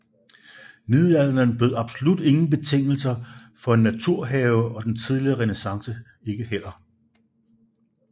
Middelalderen bød absolut ingen betingelser for en naturhave og den tidlige renæssance ikke heller